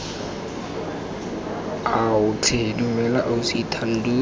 ao tlhe dumela ausi thando